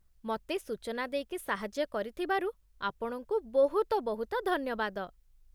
ମତେ ସୂଚନା ଦେଇକି ସାହାଯ୍ୟ କରିଥିବାରୁ ଆପଣଙ୍କୁ ବହୁତ ବହୁତ ଧନ୍ୟବାଦ ।